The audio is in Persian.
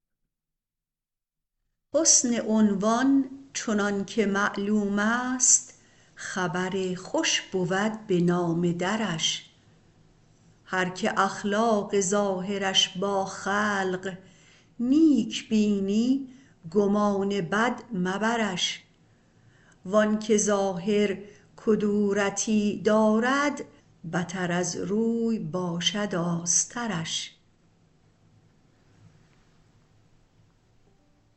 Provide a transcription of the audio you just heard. حسن عنوان چنانکه معلومست خبر خوش بود به نامه درش هر که اخلاق ظاهرش با خلق نیک بینی گمان بد مبرش وانکه ظاهر کدورتی دارد بتر از روی باشد آسترش